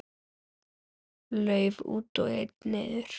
Lauf út og einn niður.